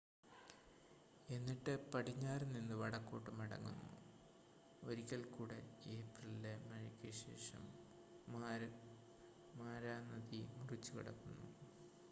എന്നിട്ട് പടിഞ്ഞാറ് നിന്ൻ വടക്കോട്ട് മടങ്ങുന്നു ഒരിക്കൽ കൂടെ ഏപ്രിലിലെ മഴയ്ക്ക് ശേഷം മാരാ നദി മുറിച്ചുകടക്കുന്നു